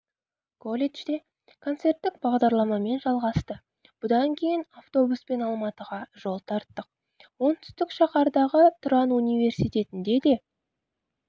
колледжде концерттік бағдарламамен жалғасты бұдан кейін автобуспен алматыға жол тарттық оңтүстік шаһардағы тұран университетінде де